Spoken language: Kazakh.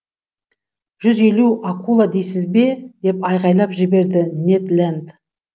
жүз елу акула дейсіз бе деп айғайлап жіберді нед ленд